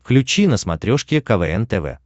включи на смотрешке квн тв